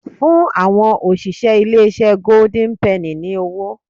Fún àwọn òṣìṣẹ́ ilé-iṣẹ́ goIden penny ní owó